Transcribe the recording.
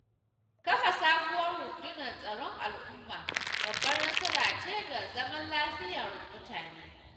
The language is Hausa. Kafa sabuwar rundunar Tsaron al'umma babbar nasara ce ga zaman lafiyar mutane.